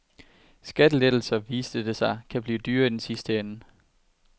Skattelettelser, viste det sig, kan blive dyre i den sidste ende.